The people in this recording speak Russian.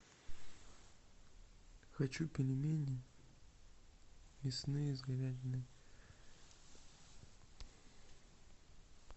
хочу пельмени мясные с говядиной